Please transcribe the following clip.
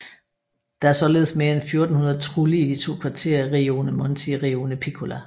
Der er således mere end 1400 trulli i de to kvarterer Rione Monti og Rione Piccola